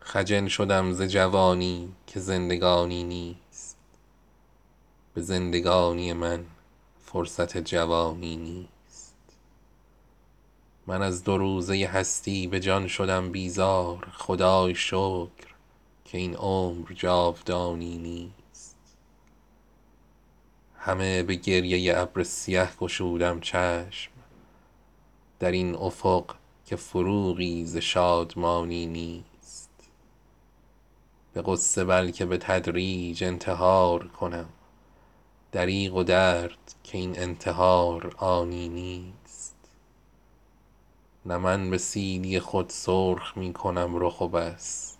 خجل شدم ز جوانی که زندگانی نیست به زندگانی من فرصت جوانی نیست من از دو روزه هستی به جان شدم بیزار خدای شکر که این عمر جاودانی نیست همه به گریه ابر سیه گشودم چشم در این افق که فروغی ز شادمانی نیست به غصه بلکه به تدریج انتحار کنم دریغ و درد که این انتحار آنی نیست نه من به سیلی خود سرخ میکنم رخ و بس